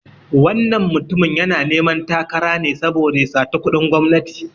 Wannan mutumin yana neman takara ne saboda ya sata kuɗin gwamnati.